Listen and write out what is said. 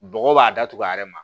Bɔgɔ b'a datugu a yɛrɛ ma